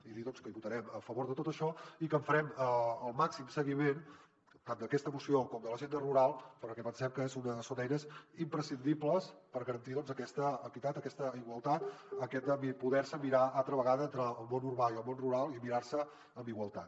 i dir doncs que votarem a favor de tot això i que farem el màxim seguiment tant d’aquesta moció com de l’agenda rural perquè pensem que són eines imprescindibles per garantir aquesta equitat aquesta igualtat aquest poder se mirar altra vegada entre el món urbà i el món rural i mirar se amb igualtat